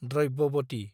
Dravyavati